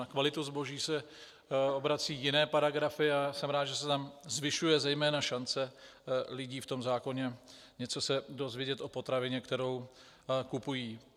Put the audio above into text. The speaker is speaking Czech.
Na kvalitu zboží se obracejí jiné paragrafy a jsem rád, že se tam zvyšuje zejména šance lidí v tom zákoně něco se dozvědět o potravině, kterou kupují.